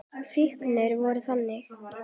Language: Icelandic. Fíknin var þannig.